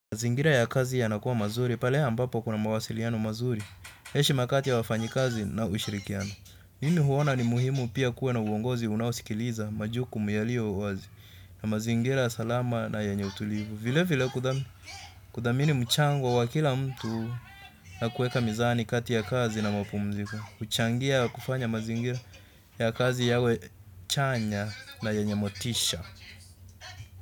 Mazingira ya kazi yanakuwa mazuri, pale ambapo kuna mawasiliano mazuri, heshima kati ya wafanyikazi na ushirikiano. Mimi huona ni muhimu pia kuwa na uongozi unaosikiliza majukumu yaliyo wazi na mazingira salama na yenye utulivu. Vile vile kudhamini mchango wa kila mtu na kueka mizani kati ya kazi na mapumziko. Huchangia kufanya mazingira ya kazi yawe chanya na yenye motisha.